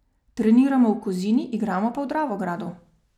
Treniramo v Kozini, igramo pa v Dravogradu.